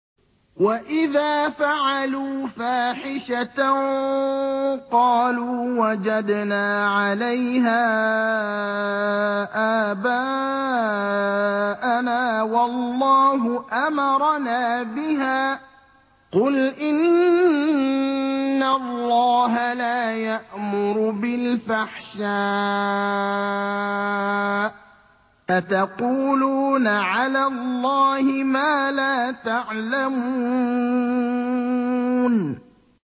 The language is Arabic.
وَإِذَا فَعَلُوا فَاحِشَةً قَالُوا وَجَدْنَا عَلَيْهَا آبَاءَنَا وَاللَّهُ أَمَرَنَا بِهَا ۗ قُلْ إِنَّ اللَّهَ لَا يَأْمُرُ بِالْفَحْشَاءِ ۖ أَتَقُولُونَ عَلَى اللَّهِ مَا لَا تَعْلَمُونَ